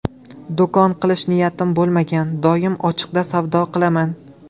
Do‘kon qilish niyatim bo‘lmagan, doim ochiqda savdo qilaman.